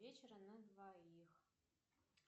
вечера на двоих